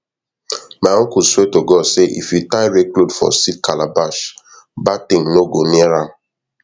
my uncle swear to god say if you tie red cloth for seed calabash bad thing no go near am